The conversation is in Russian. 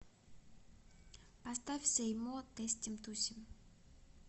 поставь сэй мо тестим тусим